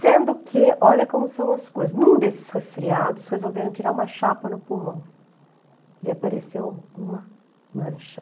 Sendo que, olha como são as coisas, em um desses resfriados, resolveram tirar uma chapa no pulmão e apareceu uma mancha.